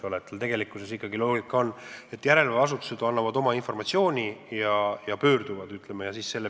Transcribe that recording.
Tema tegevuse loogika on, et järelevalveasutused annavad talle informatsiooni ja pöörduvad tema poole mingite taotlustega.